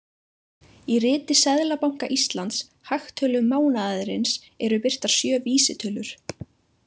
Í riti Seðlabanka Íslands, „Hagtölum mánaðarins“, eru birtar sjö vísitölur.